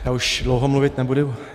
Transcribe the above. Já už dlouho mluvit nebudu.